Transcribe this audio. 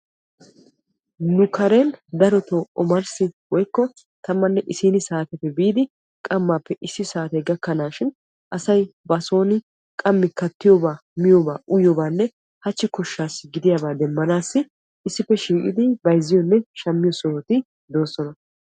Nu karen darotoo omarssi woykko tammanne issiini saateppe biidi qammaappe issi saate gakkanashin asay ba sooni qammi kattiyoobaa miyoobaa uyiyoobanne hachchi koshshasi gidiyaabaa demmanassi issippe shiiqidi bayzziyoonne shammiyoo sohoti de'oosona.